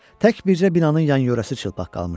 Tək bircə binanın yan-yörəsi çılpaq qalmışdı.